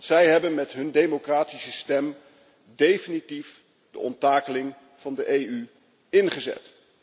Zij hebben met hun democratische stem definitief de onttakeling van de EU ingezet.